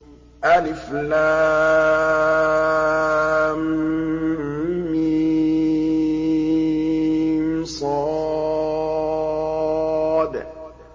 المص